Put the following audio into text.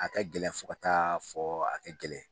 A ka gɛlɛn fo ka t'a fɔ a ka gɛlɛn